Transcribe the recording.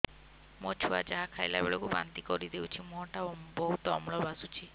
ମୋ ଛୁଆ ଯାହା ଖାଇଲା ବେଳକୁ ବାନ୍ତି କରିଦଉଛି ମୁହଁ ଟା ବହୁତ ଅମ୍ଳ ବାସୁଛି